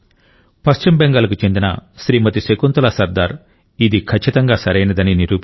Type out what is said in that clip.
పశ్చిమ బెంగాల్కు చెందిన శ్రీమతి శకుంతలా సర్దార్ ఇది ఖచ్చితంగా సరైనదని నిరూపించారు